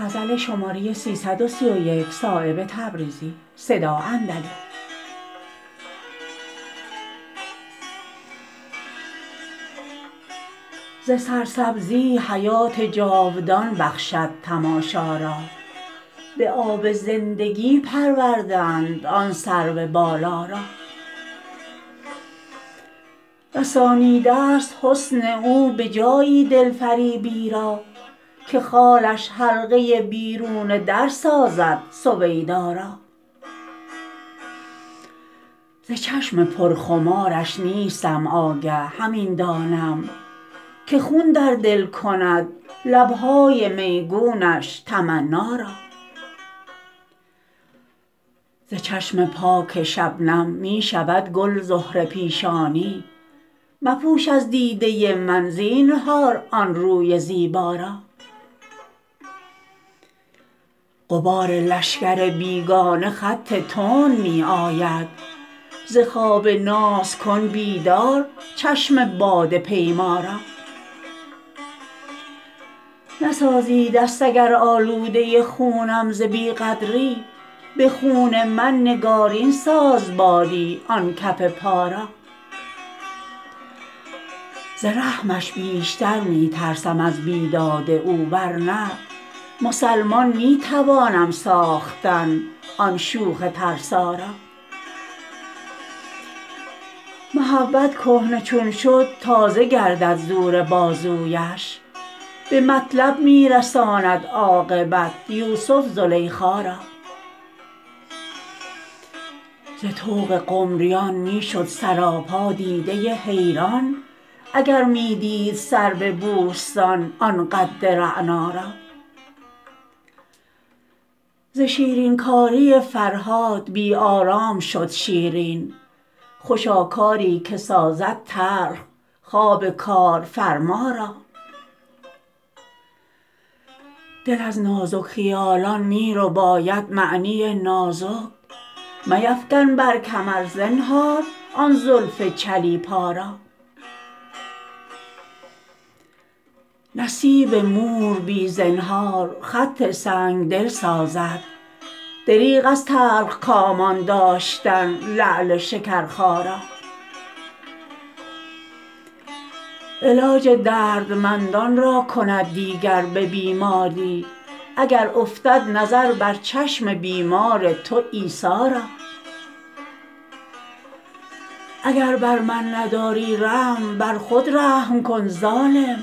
ز سرسبزی حیات جاودان بخشد تماشا را به آب زندگی پرورده اند آن سرو بالا را رسانیده است حسن او به جایی دلفریبی را که خالش حلقه بیرون در سازد سویدا را ز چشم پر خمارش نیستم آگه همین دانم که خون در دل کند لبهای میگونش تمنا را ز چشم پاک شبنم می شود گل زهره پیشانی مپوش از دیده من زینهار آن روی زیبا را غبار لشکر بیگانه خط تند می آید ز خواب ناز کن بیدار چشم باده پیما را نسازی دست اگر آلوده خونم ز بی قدری به خون من نگارین ساز باری آن کف پا را ز رحمش بیشتر می ترسم از بیداد او ورنه مسلمان می توانم ساختن آن شوخ ترسا را محبت کهنه چون شد تازه گردد زور بازویش به مطلب می رساند عاقبت یوسف زلیخا را ز طوق قمریان می شد سراپا دیده حیران اگر می دید سرو بوستان آن قد رعنا را ز شیرین کاری فرهاد بی آرام شد شیرین خوشا کاری که سازد تلخ خواب کارفرما را دل از نازک خیالان می رباید معنی نازک میفکن بر کمر زنهار آن زلف چلیپا را نصیب مور بی زنهار خط سنگدل سازد دریغ از تلخکامان داشتن لعل شکرخا را علاج دردمندان را کند دیگر به بیماری اگر افتد نظر بر چشم بیمار تو عیسی را اگر بر من نداری رحم بر خود رحم کن ظالم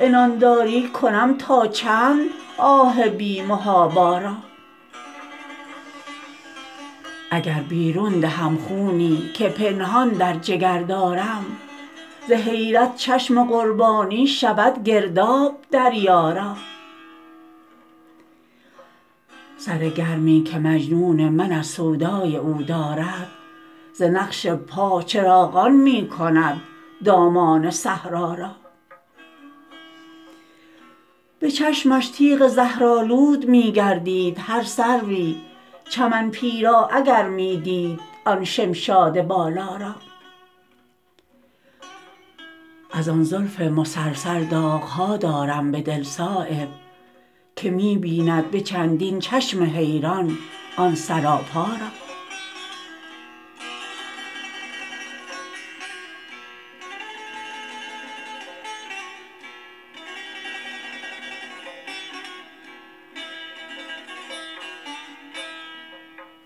عنانداری کنم تا چند آه بی محابا را اگر بیرون دهم خونی که پنهان در جگر دارم ز حیرت چشم قربانی شود گرداب دریا را سر گرمی که مجنون من از سودای او دارد ز نقش پا چراغان می کند دامان صحرا را به چشمش تیغ زهرآلود می گردید هر سروی چمن پیرا اگر می دید آن شمشاد بالا را ازان زلف مسلسل داغ ها دارم به دل صایب که می بیند به چندین چشم حیران آن سراپا را